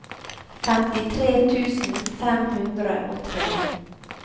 femtitre tusen fem hundre og tre